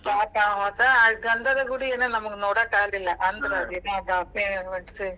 ಪಾಪ ಮತ್ ಗಂಧದಗುಡಿ ಏನ್ ನಮಗ್ ನೋಡಕಾಗ್ಲಿಲ್ಲ ಅಂದ್ರ್ ಅದೇನೋ .